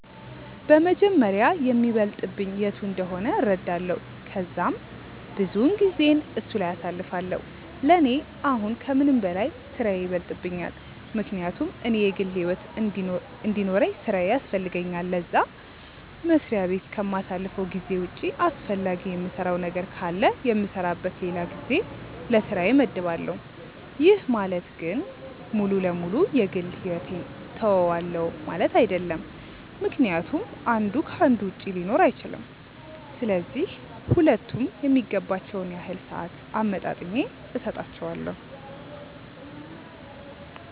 በመጀመሪያ የሚበልጥብኝ የቱ እንደሆነ እረዳለው ከዛም ብዙውን ጊዜየን እሱ ላይ አሳልፋለው፤ ለኔ አሁን ከምንም በላይ ስራዬ ይበልጥብኛል ምክንያቱም እኔ የግል ሕይወት እንዲኖርውኝ ስራዬ ያስፈልገኛል ለዛ፤ መስሪያ በት ከማሳልፈው ጊዜ ውጪ አስፈላጊ የምሰራው ነገር ካለ የምሰራበት ለላ ጊዜ ለስራዬ መድባለው፤ ይህ ማለት ግን ሙሉ ለ ሙሉ የ ግል ሕይወቴን ትውዋለው ማለት አይድለም ምክንያቱም አንዱ ከ አንዱ ውጪ ሊኖር አይችልም፤ ስለዚህ ሁለቱም የሚገባቸውን ያህል ሰአት አመጣጥኜ ሰጣቸዋለው።